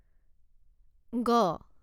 গ